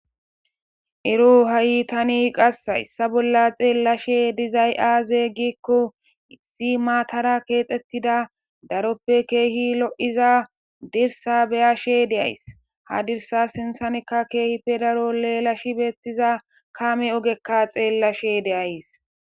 ero ha7itani qass issa bolla xeellashe dizay aaze gikko issi maatara keexxettida daroppe keehi lo7iza dirsa beyashe de7ays ha dirsa sinsanekka keehi pe daro leelash beettiza kaame ogekka xeellashe deays